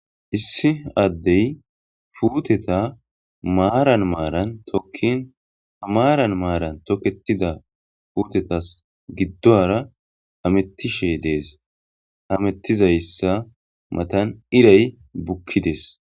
issi addey puuteta maaran maaran tokkin hamaaran maaran tokketida puutetas giddoara amettishe dees hamettizayssa matan iray bukkides